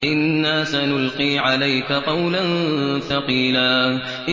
إِنَّا سَنُلْقِي عَلَيْكَ قَوْلًا ثَقِيلًا